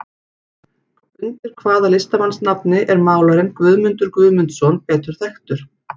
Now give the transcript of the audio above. Undir hvaða listamannsnafni er málarinn Guðmundur Guðmundsson betur þekktur?